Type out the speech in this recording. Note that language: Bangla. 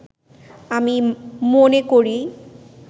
আমি মনে করি